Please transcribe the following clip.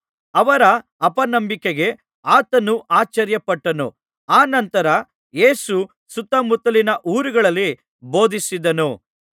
ಅವರ ಅಪನಂಬಿಕೆಗೆ ಆತನು ಆಶ್ಚರ್ಯಪಟ್ಟನು ಆ ನಂತರ ಯೇಸು ಸುತ್ತಮುತ್ತಲಿನ ಊರುಗಳಲ್ಲಿ ಬೋಧಿಸಿದನು